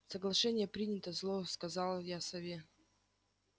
соглашение принято зло сказал я сове